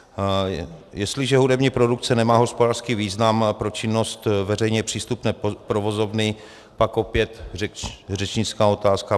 Jestliže hudební produkce nemá hospodářský význam pro činnost veřejně přístupné provozovny, pak opět řečnická otázka.